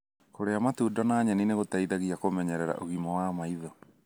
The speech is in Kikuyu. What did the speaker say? Kũria matunda na nyeni nĩ gũteithagia kũmenyerera ũgima wa maitho.